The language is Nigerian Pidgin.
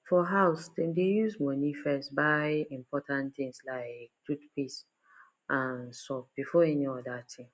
for house dem dey use money first buy important things like toothpaste and soap before any other thing